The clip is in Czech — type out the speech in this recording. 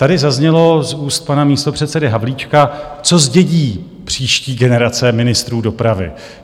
Tady zaznělo z úst pana místopředsedy Havlíčka, co zdědí příští generace ministrů dopravy?